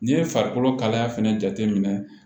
N'i ye farikolo kalaya fɛnɛ jate minɛ